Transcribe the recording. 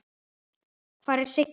Hvar er Siggi?